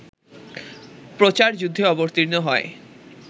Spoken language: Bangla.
প্রচারযুদ্ধে অবতীর্ণ হয়